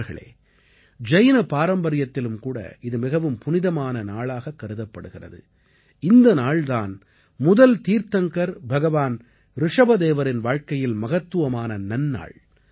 நண்பர்களே ஜைன பாரம்பரியத்திலும்கூட இது மிகவும் புனிதமான நாளாகக் கருதப்படுகிறது இந்த நாள் தான் முதல் தீர்த்தங்கர் பகவான் ரிஷபதேவரின் வாழ்க்கையில் மகத்துவமான நன்னாள்